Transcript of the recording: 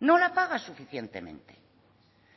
no la paga suficientemente